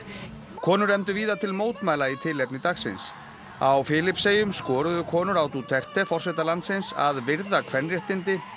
konur efndu víða til mótmæla í tilefni dagsins á Filippseyjum skoruðu konur á Duterte forseta landsins að virða kvenréttindi